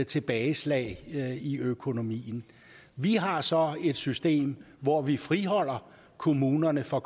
tilbageslag i økonomien vi har så et system hvor vi friholder kommunerne for